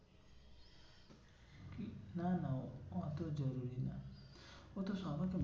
না না অত জরুরি নয়। অত